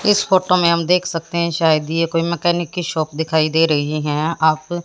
इस फोटो में हम देख सकते हैं शायद यह कोई मैकेनिक की शॉप दिखाई दे रही है। आप --